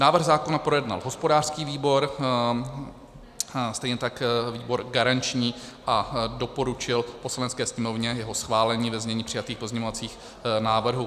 Návrh zákona projednal hospodářský výbor, stejně tak výbor garanční, a doporučil Poslanecké sněmovně jeho schválení ve znění přijatých pozměňovacích návrhů.